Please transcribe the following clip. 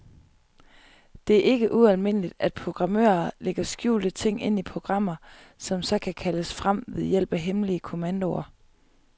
Det er ikke ualmindeligt, at programmører lægger skjulte ting ind i programmer, som så kan kaldes frem ved hjælp af hemmelige kommandoer.